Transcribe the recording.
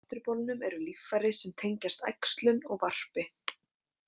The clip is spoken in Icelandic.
Á afturbolnum eru líffæri sem tengjast æxlun og varpi.